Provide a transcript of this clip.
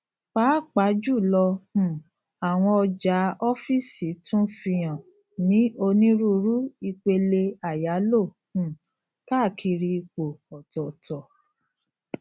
pàápàá jùlọ um àwọn ọjà ọfíìsì tun fihàn ni onírúurú ìpele àyálò um káàkiri ipò ọtọọtọ